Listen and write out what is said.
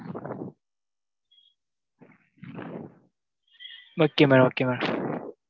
Okay madam okay madam.